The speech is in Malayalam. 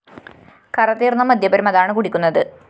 കറതീര്‍ന്ന മദ്യപരും അതാണ് കുടിക്കുന്നത്